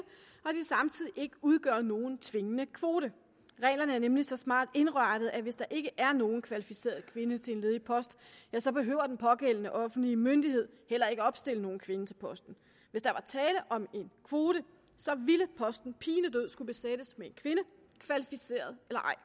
samtidig ikke udgør nogen tvingende kvote reglerne er nemlig så smart indrettet at hvis der ikke er nogen kvalificeret kvinde til en ledig post ja så behøver den pågældende offentlige myndighed heller ikke at opstille nogen kvinde til posten hvis der var tale om en kvote ville posten pinedød skulle besættes med en kvinde kvalificeret eller ej